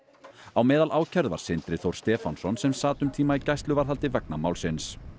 á meðal ákærðu var Sindri Þór Stefánsson sem sat um tíma í gæsluvarðhaldi vegna málsins